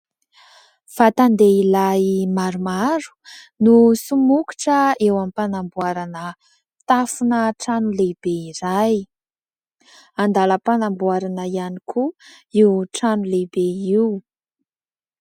Vatan-dehilahy maromaro no somokotra eo ampanamboarana tafona trano lehibe iray. Andalam-panamboarana ihany koa io trano lehibe io.